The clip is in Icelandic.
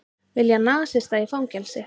Vilja nasista í fangelsi